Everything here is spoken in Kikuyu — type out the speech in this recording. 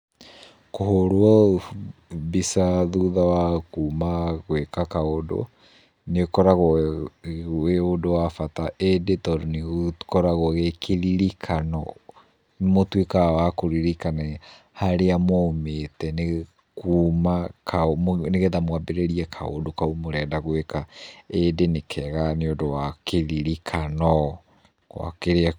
Kũhũrwo mbica thutha wa kuuma gwĩka kaũndũ nĩũkoragwo wĩ ũndũ wa bata ĩndĩ tondũ nĩ ũkoragwo wĩ kĩririkano. Nĩmũtuĩkaga wa kũririkana harĩa mwaumĩte nĩ, kuuma, kau, nĩgetha mwambĩrĩrie kaũndũ kau mũrenda gwĩka. Ĩndĩ nĩ kega nĩũndũ wa kĩririkano gwa kĩrĩa.